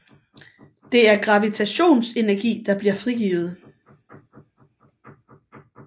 Det er gravitationsenergi der bliver frigivet